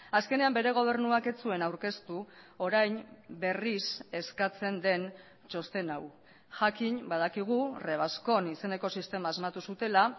azkenean bere gobernuak ez zuen aurkeztu orain berriz eskatzen den txosten hau jakin badakigu revascon izeneko sistema asmatu zutela